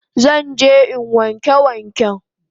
Zan je in wanke waken